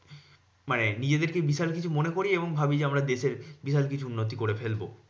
মানে নিজেদেরকে বিশাল কিছু মনে করি এবং ভাবি যে আমরা দেশের বিশাল কিছু উন্নতি করে ফেলবো।